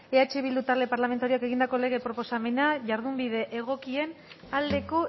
eh bildu talde parlamentarioak egindako lege proposamena jardunbide egokien aldeko